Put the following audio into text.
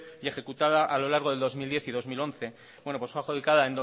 y ejecutada a lo largo del dos mil diez y dos mil once pues fue adjudicada